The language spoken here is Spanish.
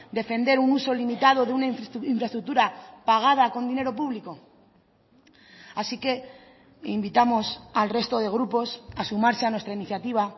defender un uso limitado de una infraestructura pagada con dinero público así que invitamos al resto de grupos a sumarse a nuestra iniciativa